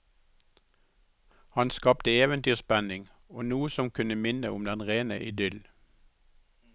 Han skapte eventyrspenning og noe som kunne minne om den rene idyll.